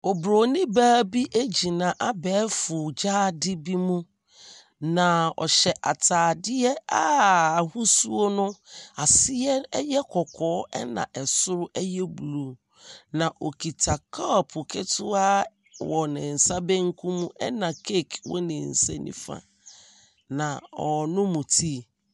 Obronin baa bi gyina abɛɛfo gyaade bi mu, na ɔhyɛ atadeɛ a ahosuo no, aseɛ yɛ kɔkɔɔ, ɛna soro yɛ blue, na ɔkuta kɔpo ketewa wɔ ner nsa benkum mu, ɛna cake wɔ ne nsa nifa mu, na ɔrenom tea.